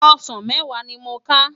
Òsán mèwá ni mó ká